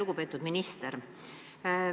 Lugupeetud minister!